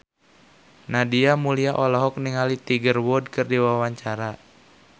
Nadia Mulya olohok ningali Tiger Wood keur diwawancara